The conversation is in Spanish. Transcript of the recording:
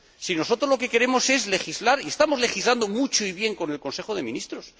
Si nosotros lo que queremos es legislar y estamos legislando mucho y bien con el Consejo de Ministros.